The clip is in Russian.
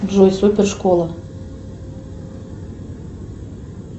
джой супер школа